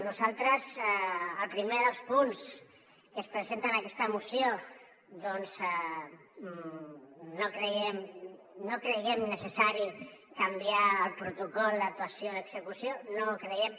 nosaltres el primer dels punts que es presenten en aquesta moció doncs no creiem necessari canviar el protocol d’actuació d’execució no ho creiem